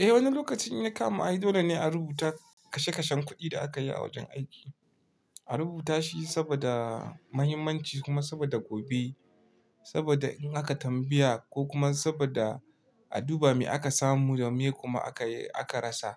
Eh wani lokacin ya kama ai dolene a rubuta kashe kashen kuɗi da aka yi a wajen aiki. A rubutashi saboda muhimmanci kuma saboda gobe saboda in aka tambiya ko kuma saboda a duba me aka samu dame kuma aka rasa